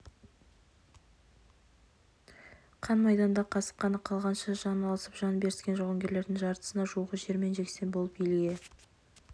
қан майданда қасық қаны қалғанша жан алысып жан беріскен жауынгерлердің жартысына жуығы жермен жексен болып елге